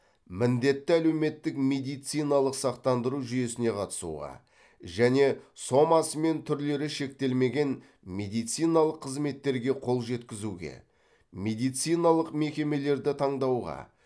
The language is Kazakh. міндетті әлеуметтік медициналық сақтандыру жүйесіне қатысуға және сомасы мен түрлері шектелмеген медициналық қызметтерге қол жеткізуге медициналық мекемелерді таңдауға